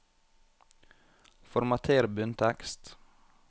Formater bunntekst